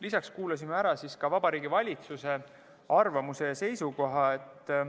Lisaks kuulasime ära Vabariigi Valitsuse arvamuse ja seisukoha.